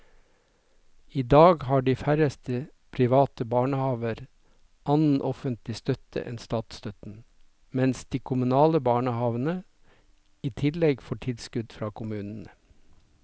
I dag har de færreste private barnehaver annen offentlig støtte enn statsstøtten, mens de kommunale barnehavene i tillegg får tilskudd fra kommunene.